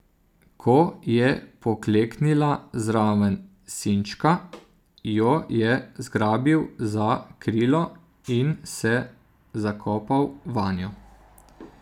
Ko je pokleknila zraven sinčka, jo je zgrabil za krilo in se zakopal vanjo.